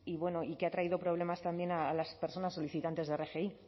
bueno y que ha traído problemas también a las personas solicitantes de rgi